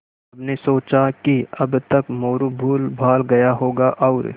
सबने सोचा कि अब तक मोरू भूलभाल गया होगा और